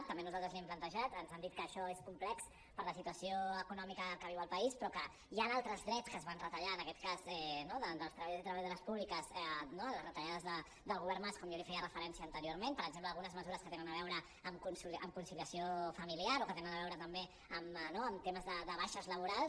també nosaltres l’hi hem plantejat ens han dit que això és complex per la situació econòmica que viu el país però que hi han altres drets que es van retallar en aquest cas no dels treballadors i treballadores públiques amb les retallades del govern mas com jo li feia referència anteriorment per exemple algunes mesures que tenen a veure amb conciliació familiar o que tenen a veure també amb temes de baixes laborals